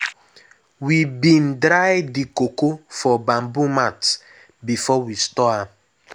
we bin dry the cocoa for bamboo mats before we store am.